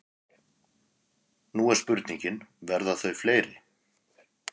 Nú er spurningin, verða þau fleiri?